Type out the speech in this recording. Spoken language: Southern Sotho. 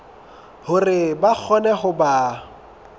hore ba kgone ho ba